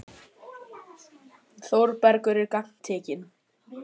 Þórbergur er sem gagntekinn.